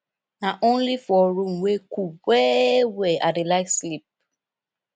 na only for room wey cool wellwell i dey like sleep